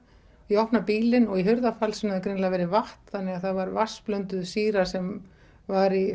ég opna bílinn og í hurðarfalsinu hefur greinilega verið vatn þannig að það var sýra sem var í